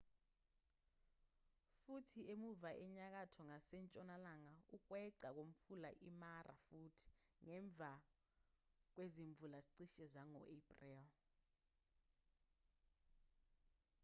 futhi emuva enyakatho ngasentshonalanga ukweqa umfula imara futhi ngemva kwezimvula cishe zango april